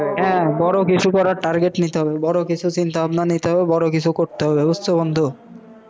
হ্যাঁ, বড় কিসু করার target নিতে হবে, বড় কিসু চিন্তা ভাবনা নিতে হবে, বড় কিসু করতে হবে, বুঝছো বন্ধু?